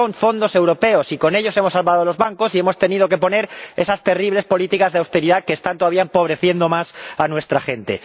Son fondos europeos y con ellos hemos salvado los bancos y hemos tenido que aplicar esas terribles políticas de austeridad que están todavía empobreciendo más a nuestra gente.